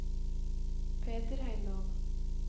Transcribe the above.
Peter Heimdal